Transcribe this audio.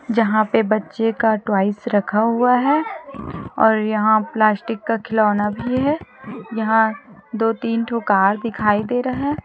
यहाँ पे बच्चे का टॉयज रखा हुआ है और यहाँ प्लास्टिक का खिलौना भी है यहाँ दो तीन ठो कार दिखाई दे रहा है।